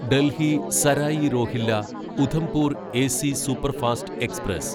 Delhi Sarai Rohilla Udhampur AC superfast express